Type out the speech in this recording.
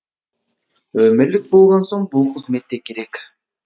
өмірлік болған соң бұл қызмет те керек